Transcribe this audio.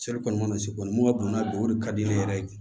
mana se kɔni mun ka bon n'a don o de ka di ne yɛrɛ ye